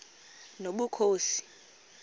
nobukhosi